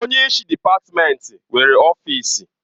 Onye isi dịpatmenti nwere ọfịsi.